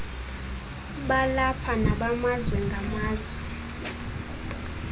balapha nobamazwe ngamazwe